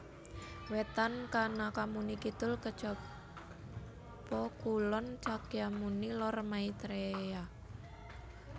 Wetan Kanakamuni Kidul Kacyapa Kulon Cakyamuni Lor Maitreya